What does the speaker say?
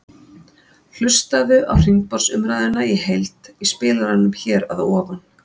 Hlustaðu á hringborðsumræðuna í heild í spilaranum hér að ofan.